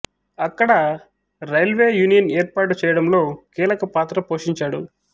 అక్కడ railway union ఏర్పాటు చేయడంలో కీలక పాత్ర పోషించాడు